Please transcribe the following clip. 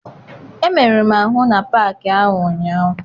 Emeruru m ahụ na paakị ahụ ụnyaahụ.